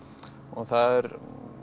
það